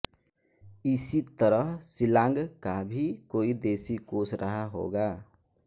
इसी तरह शिलांग का भी कोई देशी कोश रहा होगा